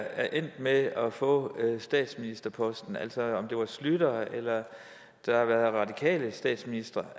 er endt med at få statsministerposten altså om det var schlüter eller radikale statsministre